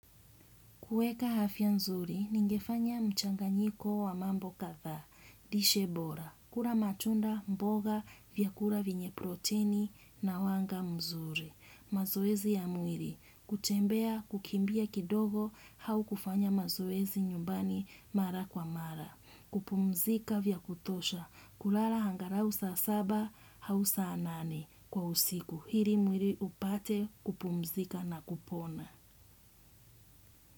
Kuweka afya nzuri, ningefanya mchanganyiko wa mambo kadhaa, lishe bora, kula matunda, mboga, vyakula vyenye proteni na wanga mzuri. Mazoezi ya mwili, kutembea, kukimbia kidogo, au kufanya mazoezi nyumbani mara kwa mara. Kupumzika vya kutosha, kulala angalau saa saba, au saa nane kwa usiku. Ili mwili upate kupumzika na kupona.